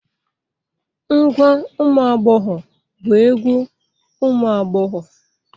Ngwa umuagbogho bu egwu umu agbogho.